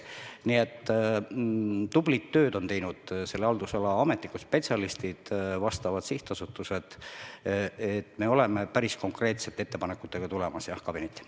Nii et tublit tööd on teinud selle haldusala ametnikud, spetsialistid, vastavad sihtasutused ja me oleme päris konkreetsete ettepanekutega kabinetti tulemas.